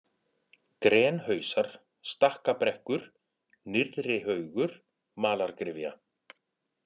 Grenhausar, Stakkabrekkur, Nyrðrihaugur, Malargryfja